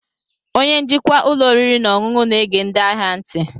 Onye njikwa ụlọ oriri na ọṅụṅụ na-ege ndị ahịa ntị.